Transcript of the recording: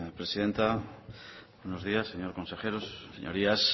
presidenta buenos días señor consejero sus señorías